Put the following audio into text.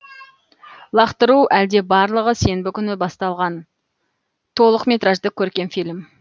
лақтыру әлде барлығы сенбі күні басталған толық метражды көркем фильм